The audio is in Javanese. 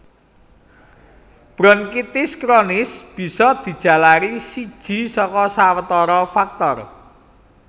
Bronkitis kronis bisa dijalari siji saka sawatara faktor